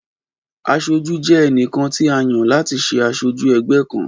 Aṣojú jẹ́ ẹnìkan tí a yàn láti ṣé aṣojú ẹgbẹ́ kan